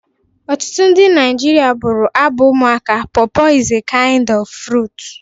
Ọtụtụ ndị Naijiria bụrụ abụ ụmụaka "Pọọpọ is a kind of fruit"